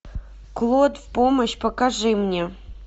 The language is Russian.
клод в помощь покажи мне